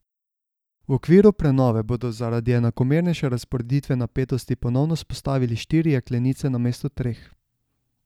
V okviru prenove bodo zaradi enakomernejše razporeditve napetosti ponovno vzpostavili štiri jeklenice namesto treh.